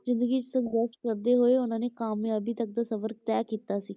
ਜ਼ਿੰਦਗੀ 'ਚ ਸੰਘਰਸ਼ ਕਰਦੇ ਹੋਏ ਉਹਨਾਂ ਨੇ ਕਾਮਯਾਬੀ ਤੱਕ ਦਾ ਸਫ਼ਰ ਤਹਿ ਕੀਤਾ ਸੀ।